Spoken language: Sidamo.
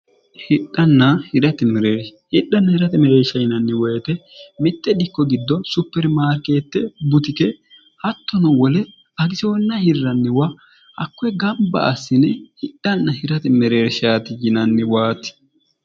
dehidhanna hirate mereeshsh yinanni woyite mitte dikko diddo supermaarkeette butike hattono wole agisoonna hirranniwa hakkoe gamba assine hidhanna hirati mereershaati yinanniwaati